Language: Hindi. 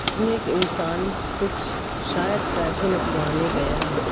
इसमें एक इंसान कुछ शायद पैसे निकलवाने गया है।